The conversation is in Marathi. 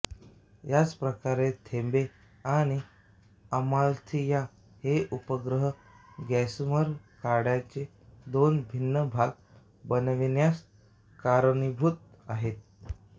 याचप्रकारे थेबे आणि अमाल्थिआ हे उपग्रह गॉसॅमर कड्याचे दोन भिन्न भाग बनविण्यास कारणीभूत आहेत